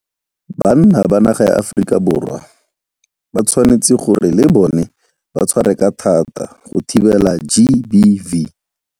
Banna ba naga ya Aforika Borwa ba tshwanetse gore le bona ba tshware ka thata go thibela GBV.